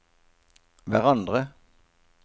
hverandre